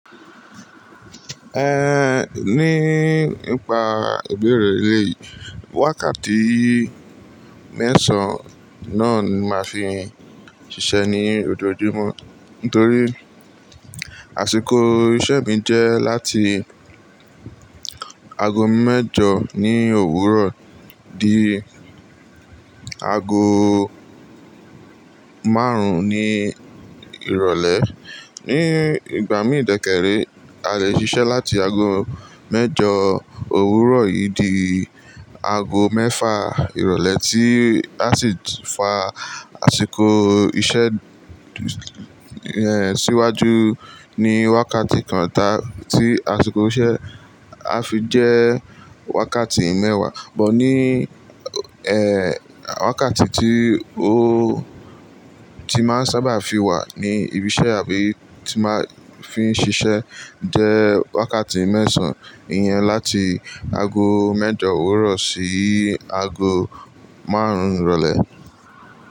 Ehn, ní ipa ìbéèrè rẹ eleyìí, wákàtí mẹ́sàn-án náà ni a máa fi ń ṣiṣẹ́ ní ojoojúmọ́. Nítorí àsìkò iṣẹ́ mi jẹ́ láti ago mẹ́jọ ní òwúrọ̀ di ago márùn-ún ní ìrọ̀lẹ́. Ní ìgbà mí dẹkẹ́rẹ́, a lè ṣiṣẹ́ láti ago mẹ́jọ òwúrọ̀ yìí di ago mẹ́fà ìrọ̀lẹ́ tí a sì fa àsìkò iṣẹ́, eh, síwájú ní wákàtí kan tá tí àsìkò iṣẹ́ a fi jẹ́ wákàtí mẹ́wàá. But ní, eh, wákàtí tí ó ti máa ń sábà fi wà ní ibi iṣẹ́ àbí ti máa fi ń ṣiṣẹ́ jẹ́ wákàtí mẹ́sàn-án. Iyẹn láti ago mẹ́jọ òwúrọ̀ sí ago márùn-ún ìrọ̀lẹ́.